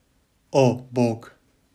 O, bog!